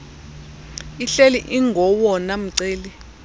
ihleli ingowona mceli